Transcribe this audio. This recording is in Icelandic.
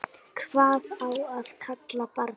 Hvað á að kalla barnið?